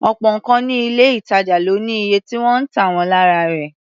Ọ̀pọ̀ nǹkan ní ilé-ìtàjà ló ní iye tí wọ́n ń tà wọ́n lára rẹ̀.